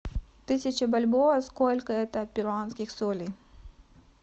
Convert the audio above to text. тысяча бальбоа сколько это перуанских солей